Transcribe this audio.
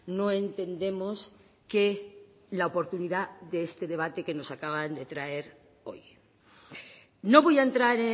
no entendemos que la oportunidad de este debate que nos acaban de traer hoy no voy a entrar